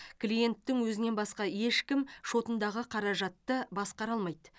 клиенттің өзінен басқа ешкім шотындағы қаражатты басқара алмайды